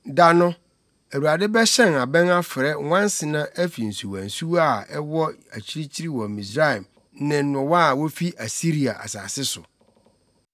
Da no, Awurade bɛhyɛn abɛn afrɛ nwansena afi nsuwansuwa a ɛwɔ akyirikyiri wɔ Misraim ne nnowa a wofi Asiria asase so.